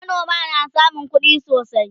manoma na samun kuɗi sosai